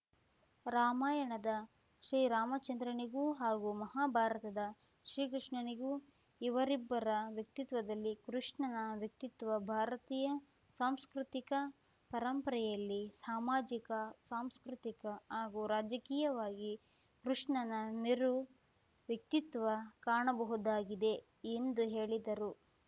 ರಾಮಾಯಣದ ಶ್ರೀರಾಮಚಂದ್ರನಿಗೂ ಹಾಗೂ ಮಹಾ ಭಾರತದ ಶ್ರೀಕೃಷ್ಣನಿಗೂ ಇವರಿಬ್ಬರ ವ್ಯಕ್ತಿತ್ವದಲ್ಲಿ ಕೃಷ್ಣನ ವ್ಯಕ್ತಿತ್ವ ಭಾರತೀಯ ಸಾಂಸ್ಕೃತಿಕ ಪರಂಪರೆಯಲ್ಲಿ ಸಾಮಾಜಿಕ ಸಾಂಸ್ಕೃತಿಕ ಹಾಗೂ ರಾಜಕೀಯವಾಗಿ ಕೃಷ್ಣನ ಮೇರು ವ್ಯಕ್ತಿತ್ವ ಕಾಣಬಹುದಾಗಿದೆ ಎಂದು ಹೇಳಿದರು